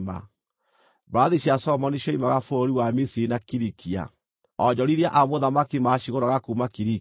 Mbarathi cia Solomoni cioimaga bũrũri wa Misiri na Kilikia. Onjorithia a mũthamaki macigũraga kuuma Kilikia.